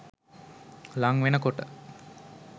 ළං වෙන කොට